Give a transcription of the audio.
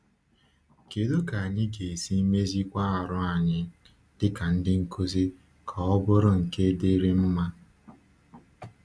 Kédú ka anyị ga-esi méziwá àrụ́ anyị díkà ndị nkuzi ka ọ bụrụ nke dírị mma?